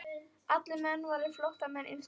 Allir menn væru flóttamenn innst inni.